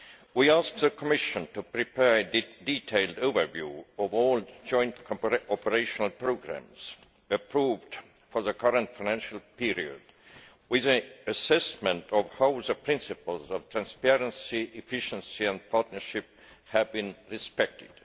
We ask the Commission to prepare a detailed overview of all joint operational programmes approved for the current financial period, with an assessment of how the principles of transparency, efficiency and partnership have been respected.